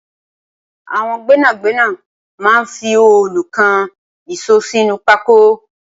Awọn gbẹnágbẹná mà n fi òòlú kán iṣó sinú pákó